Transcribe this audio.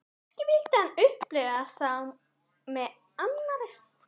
Kannski vildi hann upplifa þá með annarri stúlku.